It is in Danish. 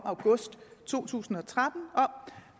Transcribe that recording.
august to tusind og tretten